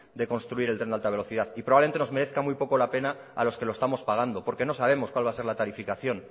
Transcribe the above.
de construir el tren de alta velocidad y probablemente nos merezca muy poco la pena a los que lo estamos pagando porque no sabemos cuál va a ser la tarificación